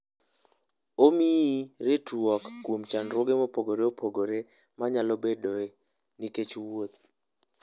Omiyi ritruok kuom chandruoge mopogore opogore manyalo bedoe nikech wuoth.